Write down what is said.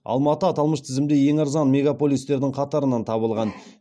алматы аталмыш тізімде ең арзан мегаполистердің қатарынан табылған